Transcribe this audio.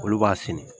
Olu b'a senni